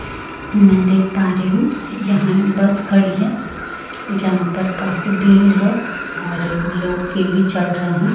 मै देख पा रही हूं यहाँ एक बस खड़ी है जहां पर काफी भीड़ है और लोग फिर भी चढ़ रहे है।